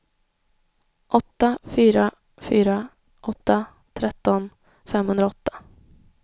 åtta fyra fyra åtta tretton femhundraåtta